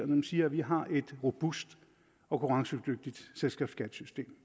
man siger at vi har et robust og konkurrencedygtigt selskabsskattesystem